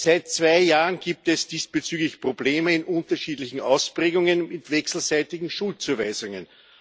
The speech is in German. Seit zwei Jahren gibt es diesbezüglich Probleme in unterschiedlichen Ausprägungen mit wechselseitigen Schuldzuweisungen.